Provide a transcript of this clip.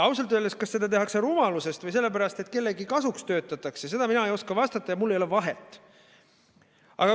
Kas seda tehakse rumalusest või sellepärast, et töötatakse kellegi kasuks, seda mina ei oska öelda ja mul ei ole vahet.